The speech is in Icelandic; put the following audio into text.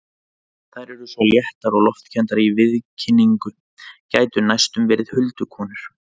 Þær eru svo léttar og loftkenndar í viðkynningu, gætu næstum verið huldukonur.